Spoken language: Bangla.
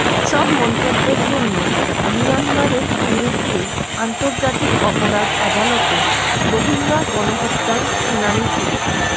সব মন্তব্যের জন্য মিয়ানমারের বিরুদ্ধে আন্তর্জাতিক অপরাধ আদালতে রোহিঙ্গা গণহত্যার শুনানি শুরু